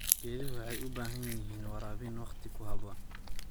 Geeduhu waxay u baahan yihiin waraabin waqti ku habboon.